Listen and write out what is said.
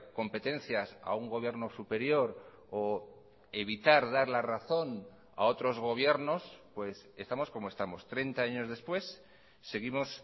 competencias a un gobierno superior o evitar dar la razón a otros gobiernos pues estamos como estamos treinta años después seguimos